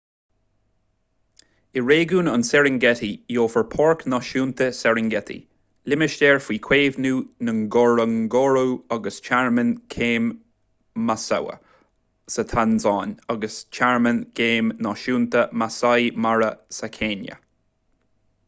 i réigiún an serengeti gheofar páirc náisiúnta serengeti limistéar faoi chaomhnú ngorongoro agus tearmann géim maswa sa tansáin agus tearmann géim náisiúnta maasai mara sa chéinia